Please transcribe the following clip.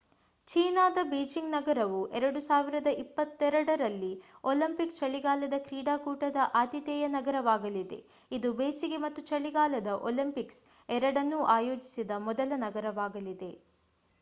ಚೀನಾದ ಬೀಜಿಂಗ್ ನಗರವು 2022 ರಲ್ಲಿ ಒಲಿಂಪಿಕ್ ಚಳಿಗಾಲದ ಕ್ರೀಡಾಕೂಟದ ಆತಿಥೇಯ ನಗರವಾಗಲಿದೆ ಇದು ಬೇಸಿಗೆ ಮತ್ತು ಚಳಿಗಾಲದ ಒಲಿಂಪಿಕ್ಸ್ ಎರಡನ್ನೂ ಆಯೋಜಿಸಿದ ಮೊದಲ ನಗರವಾಗಲಿದೆ